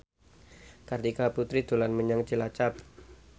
Kartika Putri dolan menyang Cilacap